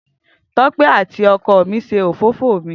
Tope ati oko mi se òfófó mi.